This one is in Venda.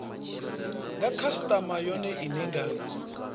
nga khasitama yone ine nga